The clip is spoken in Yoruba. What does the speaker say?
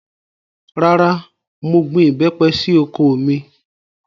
Rárá, mo gbin ìbẹ́pẹ sí oko mi